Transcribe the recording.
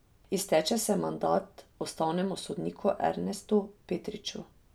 Izteče se mandat ustavnemu sodniku Ernestu Petriču.